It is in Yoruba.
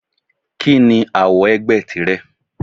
Kí ni àwo ẹgbẹ́ tìrẹ?